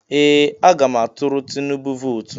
Ee! Aga m atụrụ Tinubu vootu.